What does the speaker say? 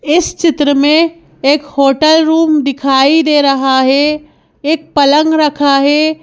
इस चित्र में एक होटल रूम दिखाई दे रहा है एक पलंग रखा है।